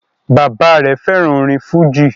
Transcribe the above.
Bàbá-ìy rẹ̀ fẹ́ràn orin fújì.